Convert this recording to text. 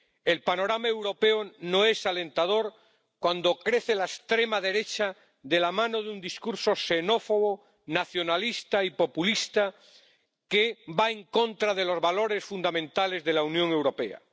El panorama europeo no es alentador cuando crece la extrema derecha, de la mano de un discurso xenófobo, nacionalista y populista que va en contra de los valores fundamentales de la Unión Europea.